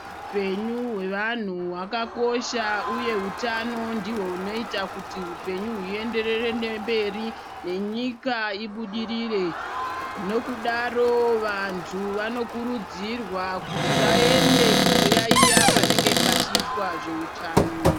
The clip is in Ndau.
Hupenyu hwevanhu wakakosha uya hutano ndiho unoita kuti upenyu huenderere mberi nenyika ibudirire nekudaro vantu vanokurudzirwa kuti vaende kunoyayiya panenge pachiitwa zveutano.